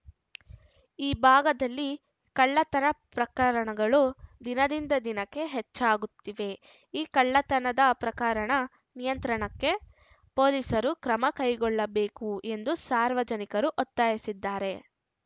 ಈ ಭಾಗದಲ್ಲಿ ಕಳ್ಳತನ ಪ್ರಕರಣಗಳು ದಿನದಿಂದ ದಿನಕ್ಕೆ ಹೆಚ್ಚಾಗುತ್ತಿವೆ ಈ ಕಳ್ಳತನದ ಪ್ರಕರಣ ನಿಯಂತ್ರಣಕ್ಕೆ ಪೊಲೀಸರು ಕ್ರಮ ಕೈಗೊಳ್ಳಬೇಕು ಎಂದು ಸಾರ್ವಜನಿಕರು ಒತ್ತಾಯಿಸಿದ್ದಾರೆ